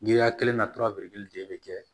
Giriya kelen na de bɛ kɛ